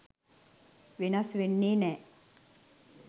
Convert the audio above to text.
වෙනස් වෙන්නේ නෑ.